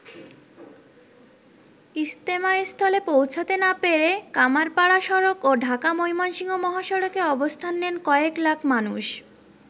ইজতেমাস্থলে পৌঁছাতে না পেরে কামাড়পাড়া সড়ক ও ঢাকা-ময়মনসিংহ মহাসড়কে অবস্থান নেন কয়েক লাখ মানুষ।